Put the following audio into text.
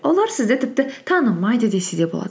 олар сізді тіпті танымайды десе де болады